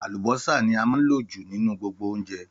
Àlùbọ́sà ní a máa ń lò jù nínú gbogbo oúnjẹ